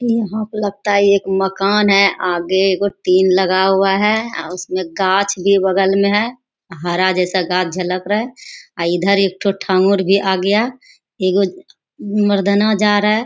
यहाँ पे लगता है एक मकान है आगे एगो टिन लगा हुआ है। आ उसमें गाछ भी बगल में है और हरा जैसा गाछ झलक रहा है अ इधर एगो भी आ गया और इधर एगो मरदाना जा रहा है।